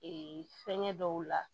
Ee fɛngɛ dɔw la